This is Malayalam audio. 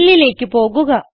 Fillലേക്ക് പോകുക